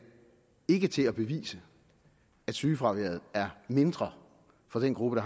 ikke til at bevise at sygefraværet er mindre for den gruppe